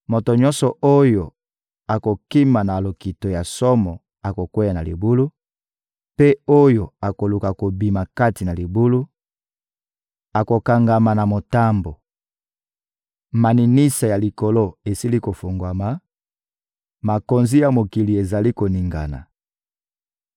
Moto nyonso oyo akokima na lokito ya somo akokweya na libulu, mpe oyo akoluka kobima kati na libulu akokangama na motambo. Maninisa ya likolo esili kofungwama, makonzi ya mokili ezali koningana.